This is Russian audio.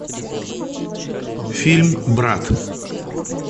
фильм брат